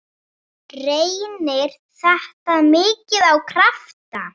Reynir þetta mikið á krafta?